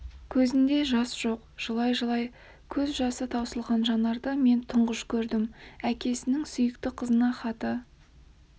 көзінде жас жоқ жылай-жылай көз жасы таусылған жанарды мен тұңғыш көрдім әкесінің сүйікті қызына хаты